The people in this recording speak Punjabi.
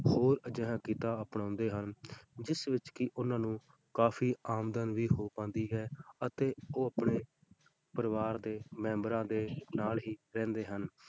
ਹੋਰ ਅਜਿਹਾ ਕਿੱਤਾ ਅਪਣਾਉਂਦੇ ਹਨ, ਜਿਸ ਵਿੱਚ ਕਿ ਉਹਨਾਂ ਨੂੰ ਕਾਫ਼ੀ ਆਮਦਨ ਵੀ ਹੋ ਪਾਉਂਦੀ ਹੈ ਅਤੇ ਉਹ ਆਪਣੇ ਪਰਿਵਾਰ ਦੇ ਮੈਂਬਰਾਂ ਦੇ ਨਾਲ ਹੀ ਰਹਿੰਦੇ ਹਨ।